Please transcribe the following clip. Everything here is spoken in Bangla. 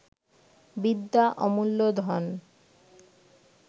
বিদ্যা অমূল্য ধন